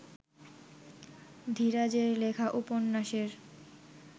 ধীরাজের লেখা উপন্যাসের